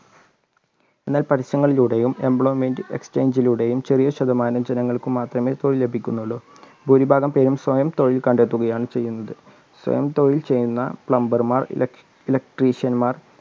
എന്നാൽ പരസ്യങ്ങളിലൂടെയും എംപ്ലോയ്മെൻറ് എക്സ്ചേഞ്ചിലൂടെയും ചെറിയ ശതമാനം ജനങ്ങൾക്ക് മാത്രമേ തൊഴിൽ ലഭിക്കുന്നുള്ളൂ ഭൂരിഭാഗംപേരു സ്വയം തൊഴിൽ കണ്ടെത്തുയാണ് ചെയ്യുന്നത് സ്വയം തൊഴിൽ ചെയ്യുന്ന പ്ലംബർമാർ ഇലക്ട്രീഷ്യന്മാർ